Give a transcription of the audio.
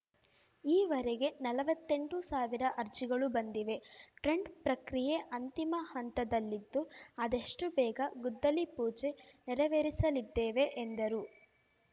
ಈ ವರೆಗೆ ನಲ್ವತ್ತೆಂಟು ಸಾವಿರ ಅರ್ಜಿಗಳು ಬಂದಿವೆ ಟ್ರೆಂಡ್ ಪ್ರಕ್ರಿಯೆ ಅಂತಿಮ ಹಂತದಲ್ಲಿದ್ದು ಆದಷ್ಟುಬೇಗ ಗುದ್ದಲಿ ಪೂಜೆ ನೆರವೇರಿಸಲಿದ್ದೇವೆ ಎಂದರು